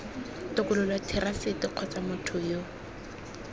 tokololo therasete kgotsa motho yo